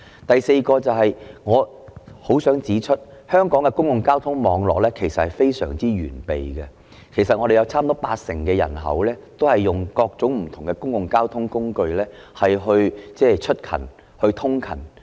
第四，我很想指出，香港的公共交通網絡非常完備，差不多有八成人口使用各種不同的公共交通工具通勤。